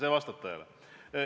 See vastab tõele.